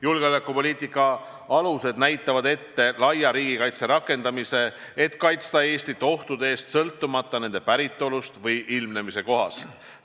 Julgeolekupoliitika alused näevad ette laia riigikaitse rakendamise, et kaitsta Eestit ohtude eest sõltumata nende päritolust või ilmnemise kohast.